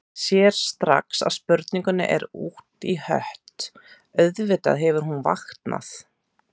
Sér strax að spurningin er út í hött, auðvitað hefur hún vaknað.